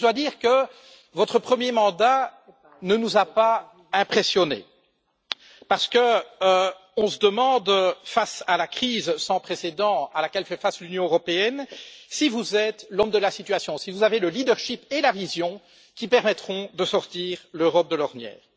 Cependant, je dois dire que votre premier mandat ne nous a pas impressionnés, parce qu'on se demande, face à la crise sans précédent à laquelle fait face l'Union européenne, si vous êtes l'homme de la situation, si vous avez le leadership et la vision qui permettront de sortir l'Europe de l'ornière.